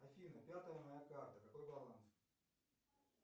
афина пятая моя карта какой баланс